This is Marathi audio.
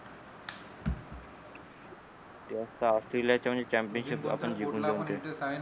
चॅम्पियनशिप आपण जिंकणारच हे